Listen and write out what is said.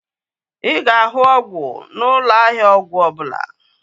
Ị ga-ahụ ọgwụ n'ụlọ ahịa ọgwụ ọbụla